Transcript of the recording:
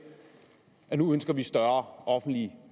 at nu ønsker man større offentlige